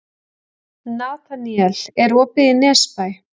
Nataníel, er opið í Nesbæ?